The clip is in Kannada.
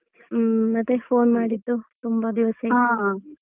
ಹ್ಮ್ ಮತ್ತೆ phone ಮಾಡಿದ್ದು ತುಂಬಾ ದಿವಸ ಆಯ್ತು.